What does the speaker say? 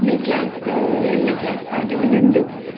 Class ಏಳ್ನೇ class ಹಾಗೆ ಒಂದೊಂದು ಅಹ್